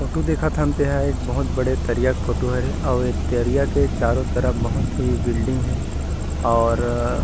photo देखथन तेहा एक बहुत बड़े दरिया के फोटो हरे औउ एक दरिया के चारों तरफ बहुत ही बिल्डिंग है और --